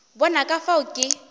bona ka fao ke be